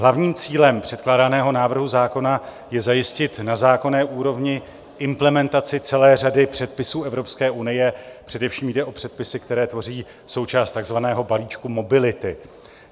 Hlavním cílem předkládaného návrhu zákona je zajistit na zákonné úrovni implementaci celé řady předpisů Evropské unie, především jde o předpisy, které tvoří součást takzvaného balíčku mobility.